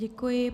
Děkuji.